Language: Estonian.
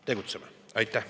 Tegutseme!